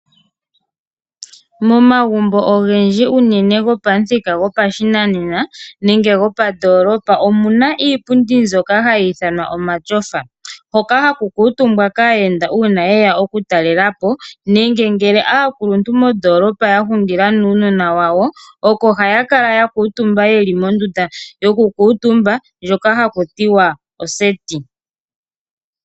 Momagumbo ogendji unene gopamuthika gopashinanena nenge gopandoolopa omuna iipundi mbyoka hayi ithanwa omatyofa , hoka haku kuutumbiwa kaayenda uuna yeya okutalelapo nenge aakuluntu moondolopa yahungila nuunona wawo. Ohaya kala yakuutumba komatyofa ngoka geli mondunda ndjoka haku tiwa oseti .